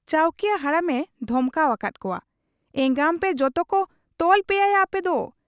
ᱪᱟᱹᱣᱠᱤᱭᱟᱹ ᱦᱟᱲᱟᱢᱮ ᱫᱷᱚᱢᱠᱟᱣ ᱟᱠᱟᱫ ᱠᱚᱣᱟ, 'ᱮᱸᱜᱟᱢᱯᱮ ᱡᱚᱛᱳᱠᱚ ᱛᱚᱞ ᱯᱮᱭᱟᱭᱟ ᱟᱯᱮᱫᱚ ᱾